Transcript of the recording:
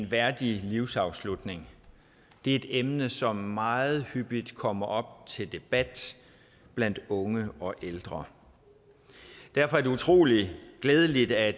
værdig livsafslutning det er et emne som meget hyppigt kommer op til debat blandt unge og ældre derfor er det utrolig glædeligt at